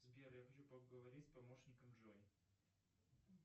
сбер я хочу поговорить с помощником джой